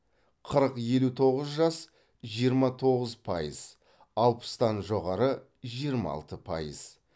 қырық елу тоғыз жас жиырма тоғыз пайыз алпыстан жоғары жиырма алты пайыз